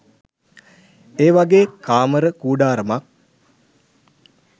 ඒවගෙ කාමර කූඩාරමක්